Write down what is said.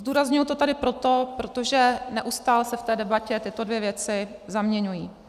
Zdůrazňuji to tady proto, protože neustále se v té debatě tyto dvě věci zaměňují.